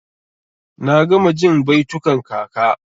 Na gama jin baitukan kaka.